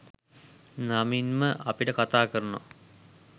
නමින්ම අපිට කතා කරනවා